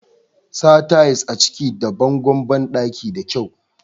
sa ta'is a kicin da bangon bandaki da kyau